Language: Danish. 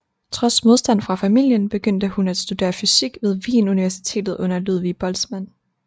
Trods modstand fra familien begyndte hun at studere fysik ved Wien Universitet under Ludwig Boltzmann